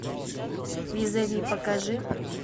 визави покажи